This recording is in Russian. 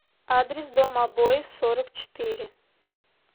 адрес дом обоев сорок четыре